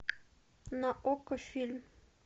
на окко фильм